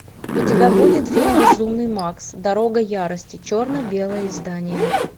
у тебя будет фильм безумный макс дорога ярости черно белое издание